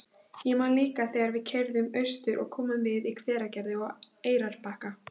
Ég man líka þegar við keyrðum austur og komum við í Hveragerði og á Eyrarbakka.